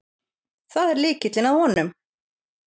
Það er lykillinn að honum.